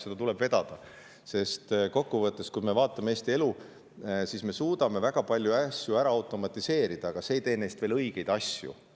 Seda tuleb vedada, sest kokkuvõttes, kui me vaatame Eesti elu, siis me suudame küll väga palju asju ära automatiseerida, aga see ei tee neist veel õigeid asju.